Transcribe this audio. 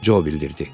Co bildirdi.